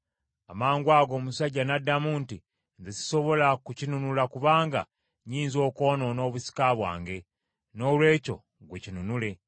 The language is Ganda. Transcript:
Amangwago, omusajja n’addamu nti, “Nze sisobola kukinunula kubanga nnyinza okwonoona obusika bwange. Noolwekyo gwe kinunule.”